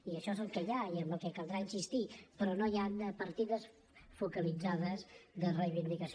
i això és el que hi ha i en què caldrà insistir però no hi ha partides focalitzades de reivindicació